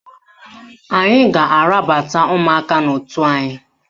Anyị ga-arabata ụmụaka n'otu anyị